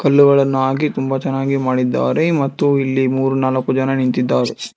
ಹುಲ್ಲುಗಳನ್ನು ಹಾಕಿ ತುಂಬಾ ಚೆನ್ನಾಗಿ ಮಾಡಿದ್ದಾರೆ ಮತ್ತು ಇಲ್ಲಿ ಮೂರು ನಾಲ್ಕು ಜನ ನಿಂತಿದ್ದಾ--